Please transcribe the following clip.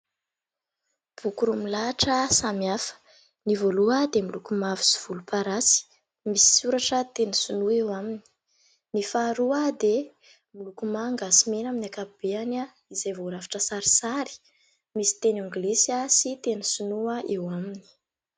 Boky roa milahatra samy hafa : ny voalohany dia miloko mavo sy volomparasy, misy soratra teny sinoa eo aminy, ny faharoa dia miloko manga sy mena amin'ny ankapobeny izay voarafitra sarisary, misy teny anglisy sy teny sinoa eo aminy.